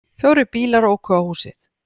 Fjórir bílar óku á húsið